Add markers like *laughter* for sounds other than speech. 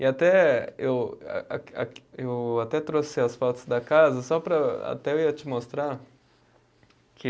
E até eu a a. *unintelligible* Eu até trouxe as fotos da casa só para, até eu ia te mostrar que